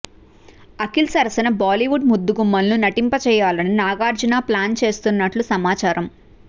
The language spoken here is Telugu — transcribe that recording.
అఖిల్ సరసన బాలీవుడ్ ముద్దుగుమ్మలను నటింపజేయాలని నాగార్జున ప్లాన్ చేస్తున్నట్లు సమాచారమ్